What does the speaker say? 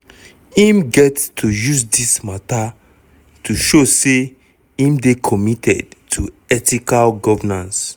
im get to use dis mata to show say im dey committed to ethical governance."